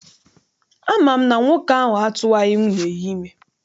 Ama m na nwoke ahụ atụwaghị nwunye ya ime.